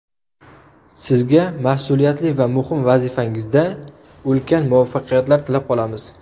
Sizga mas’uliyatli va muhim vazifangizda ulkan muvaffaqiyatlar tilab qolamiz.